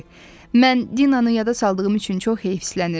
Mən Dinanı yada saldığım üçün çox heyfslənirəm.